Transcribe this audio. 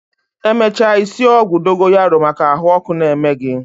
Emecha I sie ogwu dogoyaro maka ahuoku na-eme gi